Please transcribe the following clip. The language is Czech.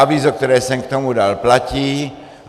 Avízo, které jsem k tomu dal, platí.